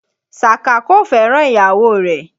Sàká kò fẹ́ràn ìyàwó rẹ̀